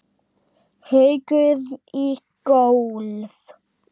Haukur í golf.